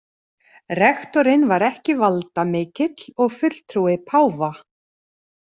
Rektorinn var ekki valdamikill og fulltrúi páfa.